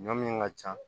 Ɲɔ min ka ca